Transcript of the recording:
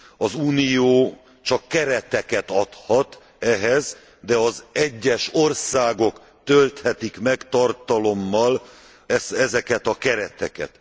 Az Unió csak kereteket adhat ehhez, de az egyes országok tölthetik meg tartalommal ezeket a kereteket.